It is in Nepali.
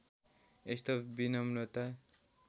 यस्तो विनम्रता